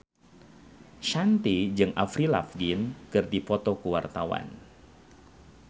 Shanti jeung Avril Lavigne keur dipoto ku wartawan